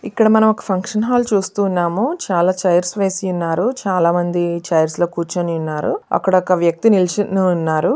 ఇక్కడ మనం ఓ ఫంక్షన్ హాల్ చూస్తూ ఉన్నాము. చాలా చైర్స్ వేసి ఉన్నారు. చాలా మంది చైర్స్ లో కూర్చొని ఉన్నారు. అక్కడ ఒక వ్యక్తి నిల్చొని ఉన్నారు.